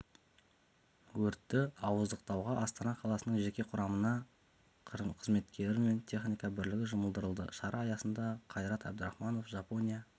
өртті ауыздықтауға астана қаласының жеке құрамының қызметкері мен техника бірлігі жұмылдырылды шара аясында қайрат әбдірахманов жапония